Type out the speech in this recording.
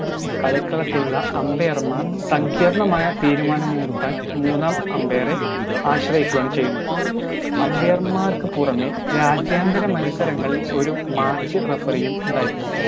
കളിക്കളത്തിലുള്ള umbair മാർ സങ്കീർണ്ണമായ തീരുമാനങ്ങളെടുക്കാൻ മൂന്നാം umbair എ ആശ്രയിക്കുകയാണ് ചെയ്യുന്നത് umbair മാർക്കുപുറമെ രാജ്യാന്തര മത്സരങ്ങളിൽ ഒരു match referee യും ഉണ്ടായിരിക്കും